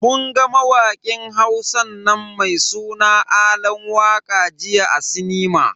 Mun ga mawakin Hausan nan mai suna Alan waka jiya a sinima.